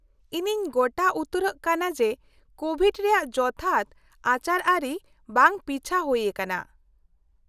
-ᱤᱧᱤᱧ ᱜᱚᱴᱟ ᱩᱛᱟᱹᱨᱚᱜ ᱠᱟᱱᱟ ᱡᱮ ᱠᱳᱵᱷᱤᱰ ᱨᱮᱭᱟᱜ ᱡᱚᱛᱷᱟᱛ ᱟᱪᱟᱨᱼᱟᱹᱨᱤ ᱵᱟᱝ ᱯᱤᱪᱷᱟᱹ ᱦᱩᱭ ᱟᱠᱟᱱᱟ ᱾